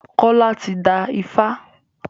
Kola tí dá ifá.